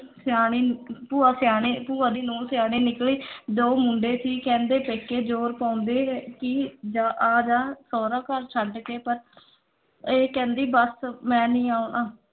ਸਿਆਣੀ ਭੂਆ ਸਿਆਣੀ ਭੂਆ ਦੀ ਨੂੰਹ ਸਿਆਣੀ ਨਿੱਕਲੀ ਦੋ ਮੁੰਡੇ ਸੀ ਕਹਿੰਦੇ ਪੇਕੇ ਜੋਰ ਪਾਉਂਦੇ ਹੈ ਕਿ ਜਾ ਆ ਜਾ, ਸਹੁਰਾ ਘਰ ਛੱਡ ਕੇ ਪਰ ਇਹ ਕਹਿੰਦੀ ਬਸ ਮੈਂ ਨਈਂ ਆਉਣਾ।